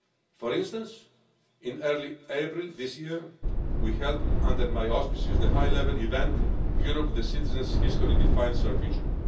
For instance, in early April this year we held, under my auspices, the high-level event Europe for Citizens History Defines our Future'.